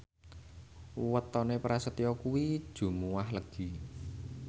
wetone Prasetyo kuwi Jumuwah Legi